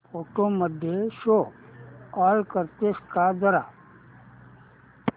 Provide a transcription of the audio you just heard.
photos मध्ये show all करतेस का जरा